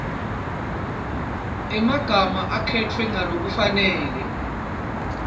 emagama akhetfwe ngalokufanele